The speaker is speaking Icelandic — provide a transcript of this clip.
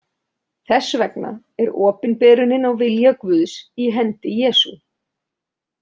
Þess vegna er opinberunin á vilja Guðs í hendi Jesú.